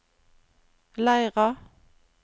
Leira